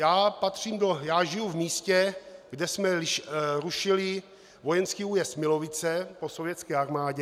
Já žiju v místě, kde jsme rušili vojenský újezd Milovice po sovětské armádě.